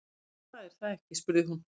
Þú veist það, er það ekki spurði hún.